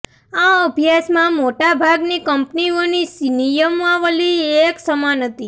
આ અભ્યાસમાં મોટા ભાગની કંપનીઓની નિયમાવલી એક સમાન હતી